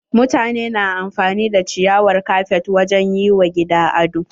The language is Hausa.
Mutane na amfani da ciyawar kafet wajen yi wa gini ado.